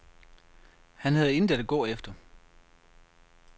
Han havde intet at gå efter.